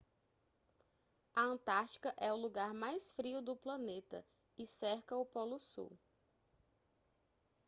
a antártica é o lugar mais frio do planeta e cerca o polo sul